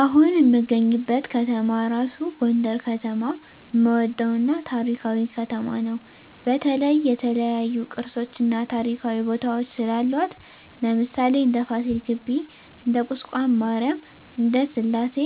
አሁን እምገኝበት ከተማ እራሡ ጎንደር ከተማ እምወደው እና ታሪካዊ ከተማ ነው በተለይ የተለያዮ ቅርሶች እና ታሪካዊ ቦታወች ስላሏት ለምሣሌ እንደ ፍሲል ግቢ እንደ ቁስቋም ማሪያም እንደ ስላሴ